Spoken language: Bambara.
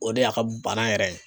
O de y'a ka bana yɛrɛ ye.